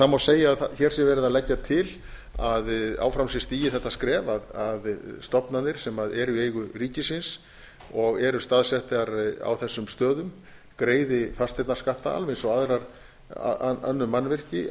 það má segja að hér sé verið að leggja til að áfram sé stigið þetta skref að stofnanir sem eru í eigu ríkisins og eru staðsettar á þessum stöðum greiði fasteignaskatta alveg eins og önnur mannvirki á